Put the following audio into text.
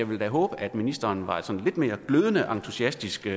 ville håbe at ministeren var sådan lidt mere glødende entusiastisk i